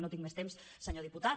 no tinc més temps senyor diputat